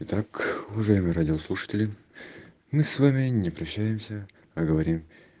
итак уважаемые радиослушатели мы с вами не прощаемся а говорим